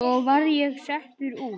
Svo var ég settur út.